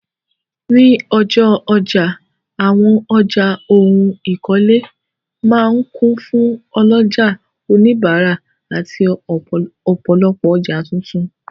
Ní ọjọ́ ọjà, àwọn ọjà ohun ìkọ́lé máa ń kún fún ọlọ́jà, òníbárà àti ọ̀pọ̀lopọ̀ ọjà tuntun.